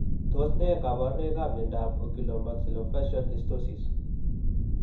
Tos ne kaborunoikap miondop Oculomaxillofacial dysostosis?